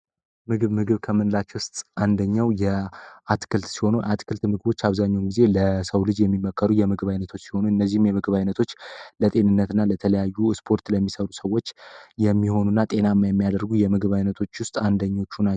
ምግብ ነገር ከምንላቸው ውስጥ አንደኛው የአትክልት ሲሆኑ አትክልት አብዛኛው ለሰው ልጅ የሚመከሩ የምግብ አይነቶች ይሆኑ እነዚህን የመግባይነቶችና ለተለያዩ ስፖርት ለሚሰሩ ሰዎች የሚሆኑ ጤናማ የሚያደርጉ የምግብ አይነቶች ውስጥ አንደኞቹ ናቸው